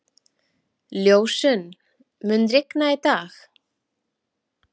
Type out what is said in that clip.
Ljósunn, mun rigna í dag?